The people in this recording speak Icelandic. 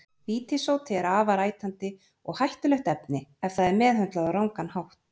Vítissódi er afar ætandi og hættulegt efni ef það er meðhöndlað á rangan hátt.